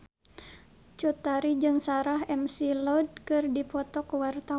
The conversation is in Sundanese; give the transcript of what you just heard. Cut Tari jeung Sarah McLeod keur dipoto ku wartawan